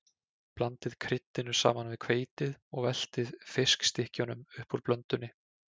Blandið kryddinu saman við hveitið og veltið fiskstykkjunum upp úr blöndunni.